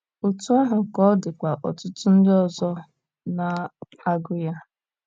Otú ahụ ka ọ dịkwa ọtụtụ ndị ọzọ na - agụ ya.